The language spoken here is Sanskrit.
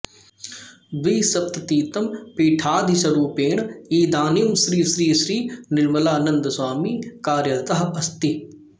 द्विसप्ततितमपीठाधीशरूपेण इदानीं श्री श्री श्री निर्मलानन्दस्वामी कार्यरतः अस्ति